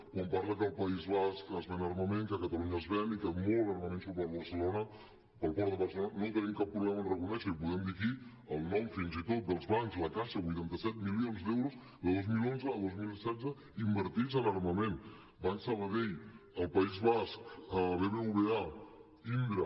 quan parla que al país basc es ven armament que a catalunya se’n ven i que molt armament surt per barcelona pel port de barcelona no tenim cap problema a reconèixer ho i podem dir aquí el nom fins i tot dels bancs la caixa vuitanta set milions d’euros de dos mil onze a dos mil setze invertits en armament banc sabadell al país basc bbva indra